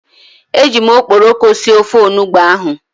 E jim okporoko sie ofe onugbu ahu